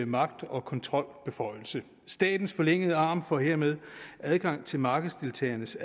magt og kontrolbeføjelse statens forlængede arm får hermed adgang til markedsdeltagernes